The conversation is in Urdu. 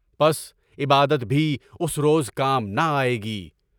پس عبادت بھی اس روز کام نہ آئے گی۔